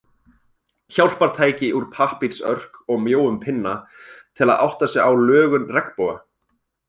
Hjálpartæki úr pappírsörk og mjóum pinna, til að átta sig á lögun regnboga.